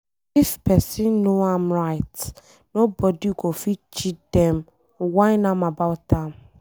If pesin know em right, nobody go fit cheat dem whine am about am.